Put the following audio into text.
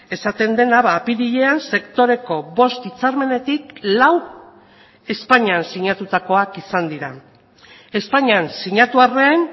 esaten dena apirilean sektoreko bost hitzarmenetik lau espainian sinatutakoak izan dira espainian sinatu arren